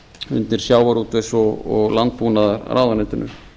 undir sjávarútvegs og landbúnaðarráðuneytinu